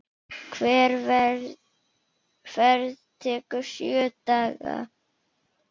Hver ferð tekur sjö daga.